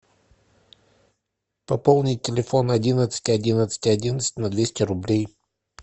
пополнить телефон одиннадцать одиннадцать одиннадцать на двести рублей